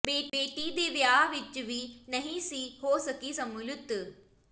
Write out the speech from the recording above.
ਬੇਟੀ ਦੇ ਵਿਆਹ ਵਿਚ ਵੀ ਨਹੀਂ ਸੀ ਹੋ ਸਕੀ ਸ਼ਮੂਲੀਅਤ